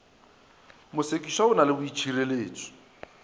mosekišwa o na le boitšhireletšo